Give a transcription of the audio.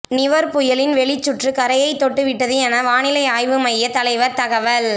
நிவர் புயலின் வெளிச்சுற்று கரையை தொட்டு விட்டது என வானிலை ஆய்வு மைய தலைவர் தகவல்